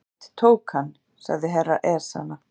Johnny Mate tók hann, sagði herra Ezana.